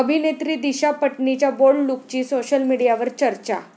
अभिनेत्री दिशा पटनीच्या बोल्ड लूकची सोशल मीडियावर चर्चा!